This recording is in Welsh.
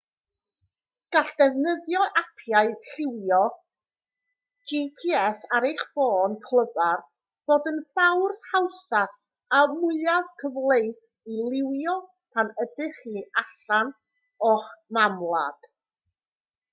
gall defnyddio apiau llywio gps ar eich ffôn clyfar fod y ffordd hawsaf a mwyaf cyfleus i lywio pan ydych chi allan o'ch mamwlad